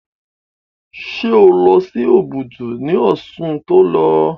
Ṣé o lọ sí Òbùdù ní oṣù tí o lọ?